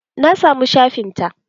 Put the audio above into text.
Na samu shafin ta.